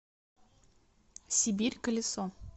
сибирь колесо